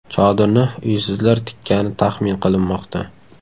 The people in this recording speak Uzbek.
Chodirni uysizlar tikkani taxmin qilinmoqda.